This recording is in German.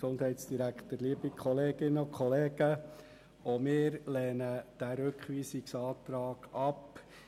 Auch wir lehnen diesen Rückweisungsantrag ab.